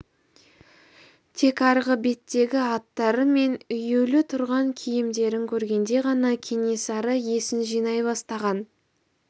тек арғы беттегі аттары мен үюлі тұрған киімдерін көргенде ғана кенесары есін жинай бастаған